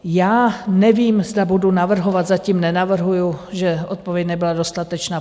Já nevím, zda budu navrhovat, zatím nenavrhuji, že odpověď nebyla dostatečná.